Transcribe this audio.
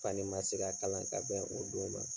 K'ale ma se ka kalan ka bɛn o don ma.